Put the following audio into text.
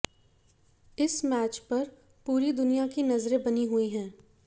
इस मैच पर पूरी दुनिया की नजरें बनी हुई हैं